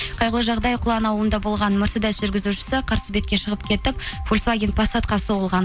қайғылы жағдай құлағына онда болған мерседес жүргізушісі қарсы бетке шығып кетіп фольсваген пассатқа соғылған